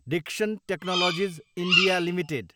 Dixon technologies, India, limited